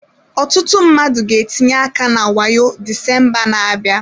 Ọtụtụ mmadụ ga-etinye aka na wayo Disemba na-abịa.